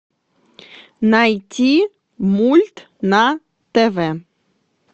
найти мульт на тв